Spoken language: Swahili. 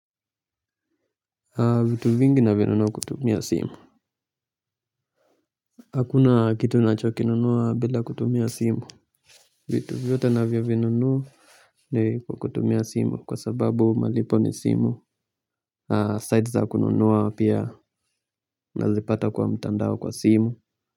Vitu vingi nimenunua kutumia simu. Hakuna kitu na cho kinunuwa bila kutumia simu. Vitu vyote ninavyo vinunua. Ni kwa kutumia simu kwa sababu malipo ni simu zaidi za kununua pia nazipata kwa mtandao kwa simu.